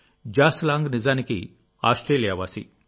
John Long నిజానికి Australia వాసి